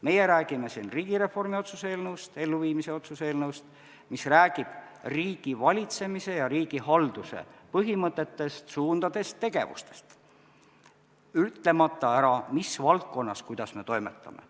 Meie räägime siin riigireformi elluviimise otsuse eelnõust, mis räägib riigivalitsemise ja riigihalduse põhimõtetest, suundadest, tegevustest, ütlemata ära, mis valdkonnas me kuidas toimetame.